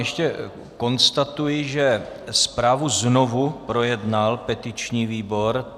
Ještě konstatuji, že zprávu znovu projednal petiční výbor.